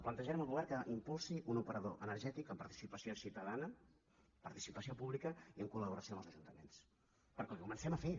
plantejarem al govern que impulsi un operador energètic amb participació ciutadana participació pública i en coltaments perquè ho comencem a fer